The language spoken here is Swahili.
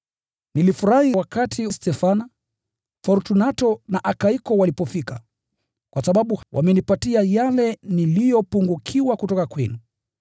Nilifurahi wakati Stefana, Fortunato na Akaiko walipofika, kwa sababu wamenipatia yale niliyopungukiwa kutoka kwenu.